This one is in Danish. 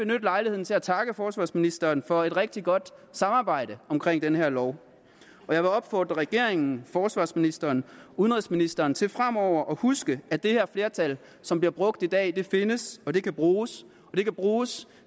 lejligheden til at takke forsvarsministeren for et rigtig godt samarbejde omkring den her lov og jeg vil opfordre regeringen forsvarsministeren og udenrigsministeren til fremover at huske at det her flertal som bliver brugt i dag findes og at det kan bruges og det kan bruges